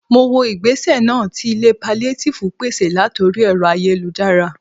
Mo wo igbese náà tí ilé paliatifu pèsè latori ẹ̀rọ ayélujára